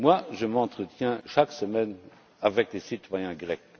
Je m'entretiens chaque semaine avec des citoyens grecs.